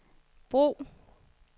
brug